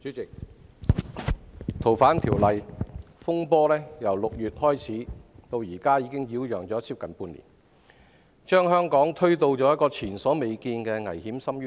主席，修訂《逃犯條例》引致的風波，由6月至今已擾攘接近半年，並將香港推到前所未見的危險深淵。